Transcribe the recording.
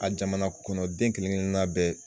A jamana kɔnɔden kelenkelenna bɛɛ